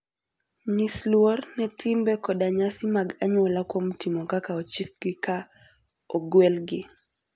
Nyis luor ne timbe koda nyasi mag anyuola kuom timo kaka ochikgi ka ogwelgi.